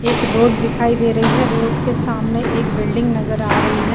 एक रोड दिखाई दे रही है रोड के सामने एक बिल्डिंग नजर आ रही है।